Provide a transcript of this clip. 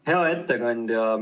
Hea ettekandja!